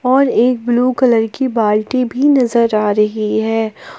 और एक blue colour की बाल्टी भी नजर आ रही है।